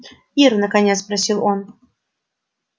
ир наконец спросил он